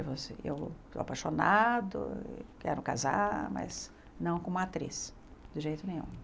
Eu estou apaixonado, quero casar, mas não como atriz, de jeito nenhum.